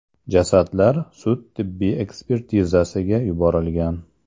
Jasadlar sud-tibbiy ekspertizasiga yuborilgan.